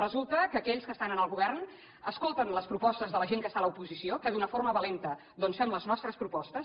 resulta que aquells que estan en el govern escolten les propostes de la gent que està a l’oposició que d’una forma valenta doncs fem les nostres propostes